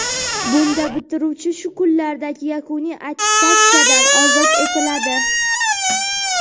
Bunda bitiruvchi shu kunlardagi yakuniy attestatsiyadan ozod etiladi.